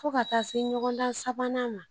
Fo ka taa se ɲɔgɔndan sabanan ma